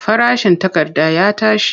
Farashin takarda ya tashi.